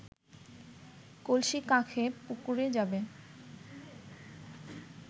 কলসি কাঁখে পুকুরে যাবে